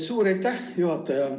Suur aitäh, juhataja!